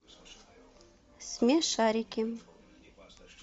смешарики